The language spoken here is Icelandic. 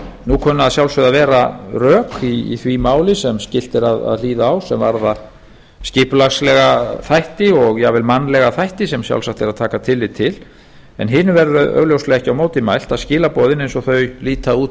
nú kunna að sjálfsögðu að vera rök í því máli sem skylt er að hlýða á sem varða skipulagslega þætti og jafnvel mannlega þætti sem sjálfsagt er að taka tillit til en hinu verður augljóslega ekki á móti mælt að skilaboðin eins og þau líta út